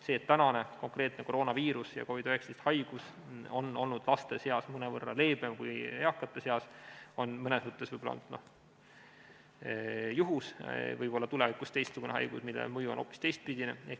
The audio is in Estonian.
See, et konkreetne koroonaviirus ja COVID-19 haigus on olnud laste seas mõnevõrra leebem kui eakate seas, on mõnes mõttes juhus, tulevikus võib tulla teistsugune haigus, mille mõju on hoopis teistpidine.